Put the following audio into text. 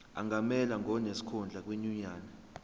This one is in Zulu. angamelwa ngonesikhundla kwinyunyane